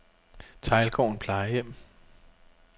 Teglgården Plejehjem